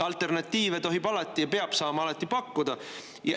Alternatiive tohib alati pakkuda ja peab saama alati pakkuda.